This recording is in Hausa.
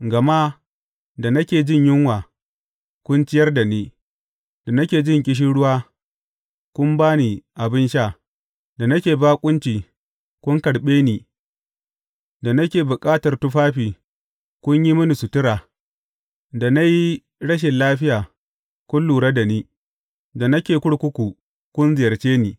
Gama da nake jin yunwa, kun ciyar da ni, da nake jin ƙishirwa, kun ba ni abin sha, da nake baƙunci, kun karɓe ni, da nake bukatar tufafi, kun yi mini sutura, da na yi rashin lafiya, kun lura da ni, da nake kurkuku, kun ziyarce ni.’